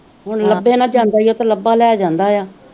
ਹੁਣ ਲਬੇ ਨਾਲ ਜਾਂਦਾ ਈ ਤੇ ਲਬਾ ਲੈ ਜਾਂਦਾ ਯਾ